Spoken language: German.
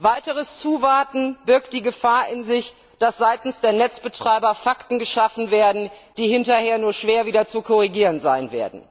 Weiteres Zuwarten birgt die Gefahr in sich, dass seitens der Netzbetreiber Fakten geschaffen werden, die hinterher nur schwer wieder zu korrigieren sind.